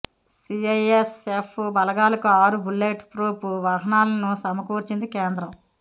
CISF బలగాలకు ఆరు bulletproof వాహనాలను సమకూర్చింది కేంద్రం